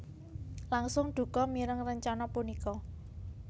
langsung duka mireng rencana punika